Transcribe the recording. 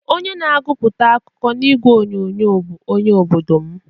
Onye na-aguputa akụkọ na igwe onyonyo bụ onye obodo m.